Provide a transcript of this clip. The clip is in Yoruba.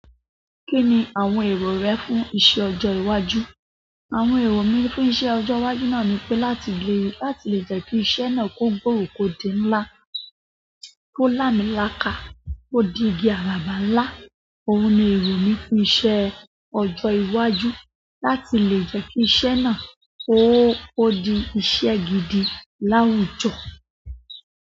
Kí ni àwọn èrò rẹ fún iṣẹ́ ọjọ́ iwájú? Àwọn èrò mi fún iṣẹ́ ọjọ́ iwájú náà ni pé láti lè láti lè jẹ́ kí iṣẹ́ náà kó gbòòrò kò di ńlá, kó lámiláka, kó di igi àràbà ńlá. Óun ni èrò mi fún iṣẹ́ ọjọ́ iwájú. Láti lè jẹ́ kí iṣẹ́ náà kó di iṣẹ́ gidi láwùjọ.